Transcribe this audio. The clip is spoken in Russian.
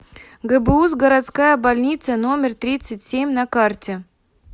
гбуз городская больница номер тридцать семь на карте